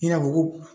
I n'a fɔ ko